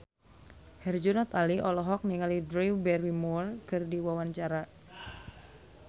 Herjunot Ali olohok ningali Drew Barrymore keur diwawancara